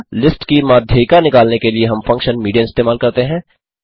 list की माध्यिका निकालने के लिए हम फंक्शन मीडियन इस्तेमाल करते हैं